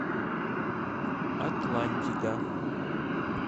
атлантика